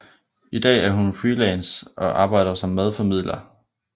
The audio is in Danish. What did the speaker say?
I dag er hun freelance og arbejder som madformidler